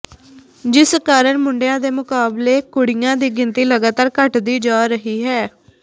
ਜਿਸ ਕਾਰਨ ਮੁੰਡਿਆਂ ਦੇ ਮੁਕਾਬਲੇ ਕੁੜੀਆਂ ਦੀ ਗਿਣਤੀ ਲਗਾਤਾਰ ਘੱਟਦੀ ਜਾ ਰਹੀ ਹੈ